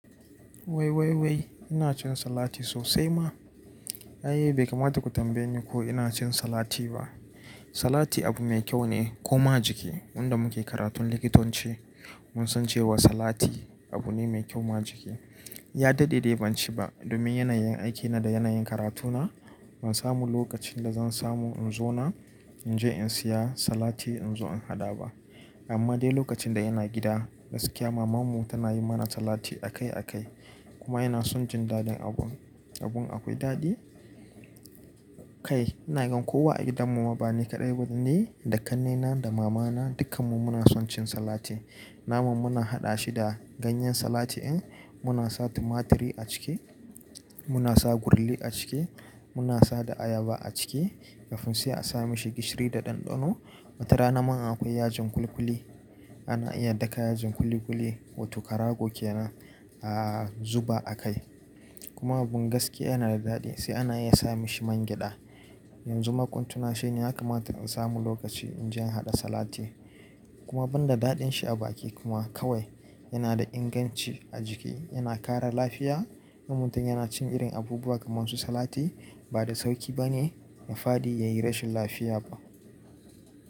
Wai wai wai ina cin salati sosai ma. Ai bai kamata ku tambaye ni ko ina cin salati ba. Salati abu mai kyau ne kuma jiki. Wanda muke karatun likitanci mun san cewa salati abu ne mai kyau ma jiki. Ya daɗe dai ban ci ba domin yanayin aiki na da yanayin karatuna ban samu lokacin da zan samu in zo nan in je in saya salati in zo in haɗa ba. Amma dai lokacin da ina gida gaskiya mamanmu tana yi mana salati a kai a kai kuma ina son jin daɗin abun. Abun akwai daɗi kai. Ina gan kowa a gidan mu ma bani kaɗai wato ni da ƙannena da mamana dukkan mu muna son cin salati. Nama muna haɗa shi da ganyen salati en muna sa tumaturi a ciki, muna sa gurlli a ciki, muna sada ayaba a ciki kafin sai a sa mashi gishiri da ɗanɗano. Wata rana man akwai yajin kuli-kuli ana iya daka yajin kuli-kuli wato karago kenan a zuba a kai. Kuma abun gaskiya yana da daɗi sai ana iya sa mishi man gyada. Yanzu makuntuna shine ya kamata in samu lokaci in je in haɗa salati. Kuma ban da daɗin shi a baki kuma kawai yana da inganci a jiki yana kara lafiya. Ummutun yana cin irin abubuwa kamar su salati ba da sauƙi ba ne ya fadi yayi rashin lafiya ba.